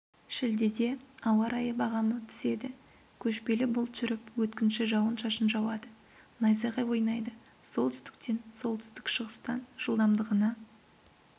шілдеде ауа райы бағамы түседі көшпелі бұлт жүріп өткінші жауан-шашын жауады найзағай ойнайды солтүстістен солтүстік-шығыстан жылдамдығына